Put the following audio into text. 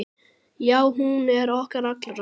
Já, hún er okkar allra.